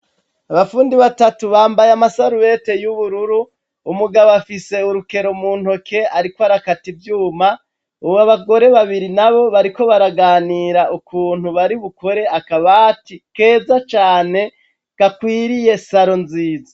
abafundi batatu bambaye amasarubete y'ubururu, umugabo afise urukero mu ntoke ariko arakati ivyuma, ubu abagore babiri na bo bariko baraganira ukuntu bari bukore akabati keza cane gakwiriye saro nziza.